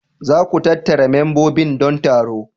Za ku tattara membobin don taro.